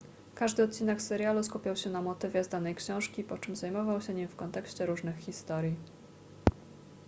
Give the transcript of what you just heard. każdy odcinek serialu skupiał się na motywie z danej książki po czym zajmował się nim w kontekście różnych historii